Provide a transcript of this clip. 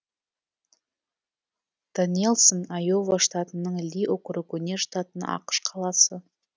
доннэлсон айова штатының ли округіне жататын ақш қаласы